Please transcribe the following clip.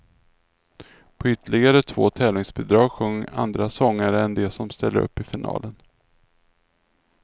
På ytterligare två tävlingsbidrag sjöng andra sångare än de som ställer upp i finalen.